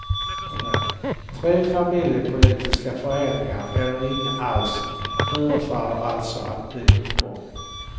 Tre familjepolitiska förändringar eller ingen alls förefaller alltså att bli utgången.